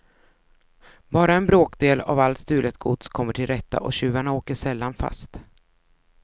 Bara en bråkdel av allt stulet gods kommer till rätta och tjuvarna åker sällan fast.